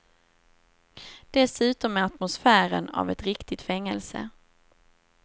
Dessutom med atmosfären av ett riktigt fängelse.